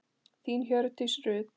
Þín Hjördís Rut.